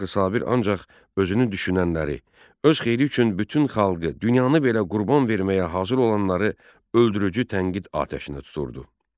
Axı Sabir ancaq özünü düşünənləri, öz xeyri üçün bütün xalqı, dünyanı belə qurban verməyə hazır olanları öldürücü tənqid atəşinə tuturdu.